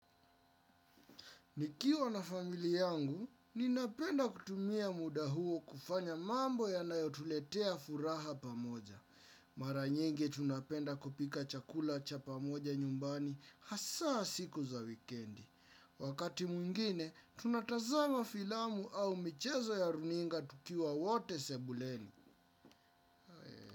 Nikiwa na familia yangu, ninapenda kutumia muda huo kufanya mambo yanayotuletea furaha pamoja. Mara nyingi tunapenda kupika chakula cha pamoja nyumbani hasaa siku za wikendi. Wakati mwingine, tunatazama filamu au michezo ya runinga tukiwa wote sebuleni.